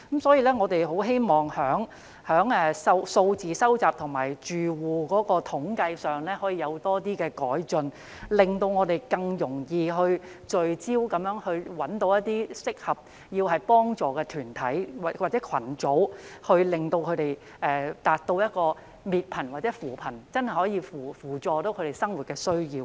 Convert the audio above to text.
所以，我們希望在收集住戶統計資料上可以有更多改進，令我們更容易聚焦式找出一些需要幫助的團體或群組，以便達到滅貧或扶貧的目標，真正扶助他們的生活需要。